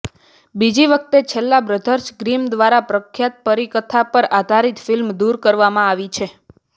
બીજી વખત છેલ્લા બ્રધર્સ ગ્રિમ દ્વારા પ્રખ્યાત પરીકથા પર આધારિત ફિલ્મ દૂર કરવામાં આવી છે